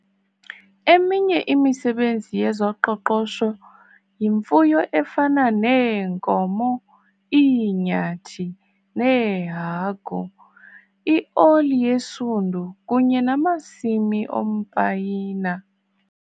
Eminye imisebenzi yezoqoqosho yimfuyo efana neenkomo, iinyathi neehagu, ioli yesundu kunye namasimi ompayina.